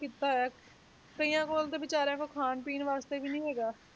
ਕੀਤਾ ਹੋਇਆ, ਕਈਆਂ ਕੋਲ ਤਾਂ ਬੇਚਾਰਿਆਂ ਕੋਲ ਖਾਣ ਪੀਣ ਵਾਸਤੇ ਵੀ ਨੀ ਹੈਗਾ,